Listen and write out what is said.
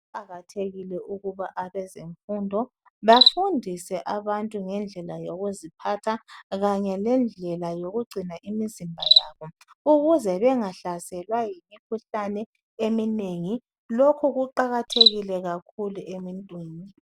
Kuqathekile ukuba abezemfundo bafundise abantu ngendlela yokuziphatha kanye lendlela yokugcina imizimba yabo ukuze bengahlaselwa yimikhuhlane eminengi , lokhu kuqakathekile kakhulu emuntwini